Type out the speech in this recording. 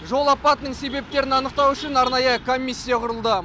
жол апатының себептерін анықтау үшін арнайы комиссия құрылды